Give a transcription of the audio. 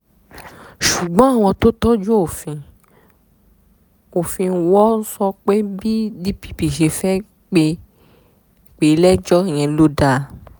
ṣùgbọ́n àwọn tó fojú òfin wò ó sọ pé bí dpp ṣe fẹ́ẹ́ pè é lẹ́jọ́ yẹn ló dáa